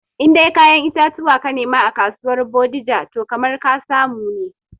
In dai kayan itatuwa ka ke nema a kasuwar bodija toh kamar ka samu ne